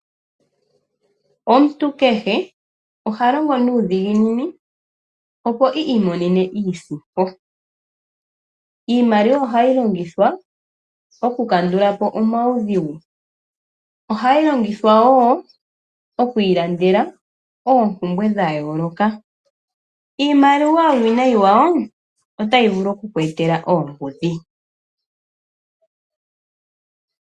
Omuntu kehe oha longo nuudhiginini, opo i imonene iisimpo. Iimaliwa ohayi longithwa okukandula po omaudhigu. Ohayi longithwa wo oku ilandela oompumbwe dha yooloka. Uuwinayi wiimaliwa, otayi vulu oku ku etela oombudhi.